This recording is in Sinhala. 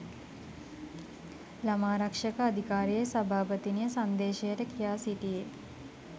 ළමාරක්ෂක අධිකාරියේ සභාපතිනිය සංදේශයට කියා සිටියේ